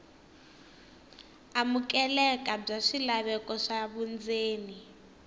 amukeleka bya swilaveko swa vundzeni